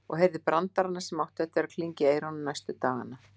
Og heyrði brandarana sem áttu eftir að klingja í eyrunum næstu dagana.